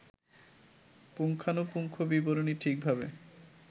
পুঙ্খানুপুঙ্খ বিবরণী ঠিকভাবে